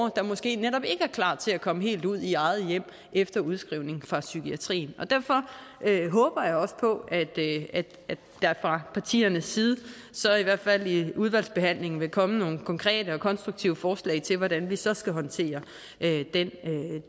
der måske netop ikke er klar til at komme helt ud i eget hjem efter udskrivning fra psykiatrien derfor håber jeg også på at der fra partiernes side så i hvert fald i udvalgsbehandlingen vil komme nogle konkrete og konstruktive forslag til hvordan vi så skal håndtere